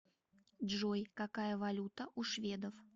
джой какая валюта у шведов